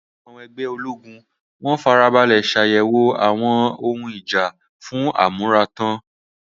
In the garrison, ammunition was carefully inspected for readiness.